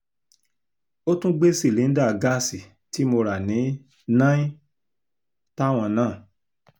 ó tún gbé sílinda gáàsì tí mo rà ní náin táwọn náà